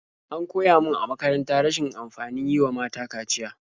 An koya min a makaranta rashin amfanin yi wa mata kaciya.